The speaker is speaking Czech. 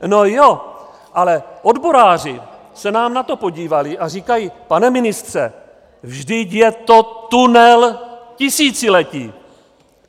No jo, ale odboráři se nám na to podívali a říkají, pane ministře, vždyť je to tunel tisíciletí.